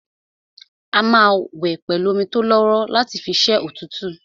A máa wẹ̀ pẹ̀lú omi tólọ́wọ́rọ́ láti fi ṣẹ́ òtútù